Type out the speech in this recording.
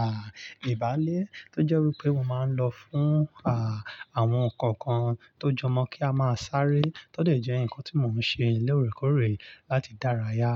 à, ìbálé tó jẹ́ wí pé mo máa ń lọ fún, à, àwọn nǹkan kan tó jọmọ kí a máa sáré. Tótè jẹ́ nǹkan tí mò ń ṣe léòrèkóòrè láti dárayá.